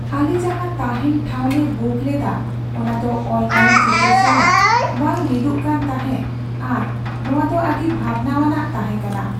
ᱟᱞᱮ ᱡᱟᱦᱟᱸ ᱛᱟᱦᱮᱸᱱ ᱴᱷᱟᱶ ᱞᱮ ᱵᱩᱠ ᱞᱮᱫᱟ , ᱚᱱᱟ ᱫᱚ ᱚᱱᱞᱟᱭᱤᱱ ᱪᱤᱛᱟᱹᱨ ᱥᱟᱞᱟᱜ ᱵᱟᱝ ᱢᱤᱫᱚᱜ ᱠᱟᱱ ᱛᱟᱦᱮᱸᱜ ᱟᱨ ᱱᱚᱶᱟ ᱫᱚ ᱟᱹᱰᱤ ᱵᱷᱟᱵᱽᱱᱟᱣᱟᱱ ᱛᱟᱦᱮᱸ ᱠᱟᱱᱟ ᱾